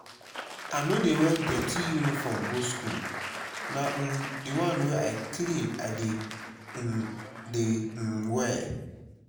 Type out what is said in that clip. i no dey wear dirty uniform go school na um the one wey clean i dey um dey um wear